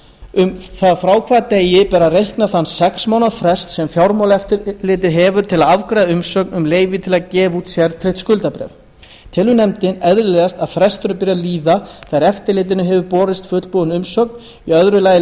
um það frá hvaða degi beri að reikna þann sex mánaða frest sem fjármálaeftirlitið hefur til að afgreiða umsókn um leyfi til að gefa út sértryggt skuldabréf telur nefndin eðlilegast að fresturinn byrji að líða þegar þegar eftirlitinu hefur borist fullbúin umsókn í öðru lagi